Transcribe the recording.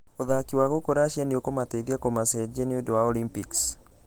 Ũthaki wao gũkũ russia nĩũkũmateithia kũmacenjia nĩũndũ wa olympics.